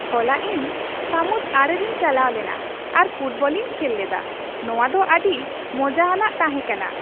ᱦᱚᱞᱟ ᱤᱧ ᱥᱟᱢᱩᱫ ᱟᱲᱮ ᱨᱮᱧ ᱪᱟᱞᱟᱣ ᱞᱮᱱᱟ ᱟᱨ ᱯᱷᱩᱴᱵᱚᱞᱤᱧ ᱠᱷᱮᱞ ᱞᱮᱫᱟ ᱾ ᱱᱚᱶᱟ ᱫᱚ ᱟᱹᱰᱤ ᱢᱚᱡᱟ ᱟᱱᱟᱜ ᱛᱟᱦᱮᱸ ᱠᱟᱱᱟ ᱾